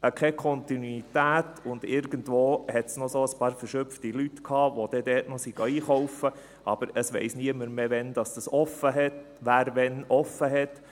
Keine Kontinuität, und irgendwo gab es noch einige verschupfte Leute, die dort noch einkaufen gingen, aber niemand weiss mehr, wer wann geöffnet hat.